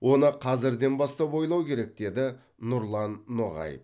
оны қазірден бастап ойлау керек деді нұрлан ноғаев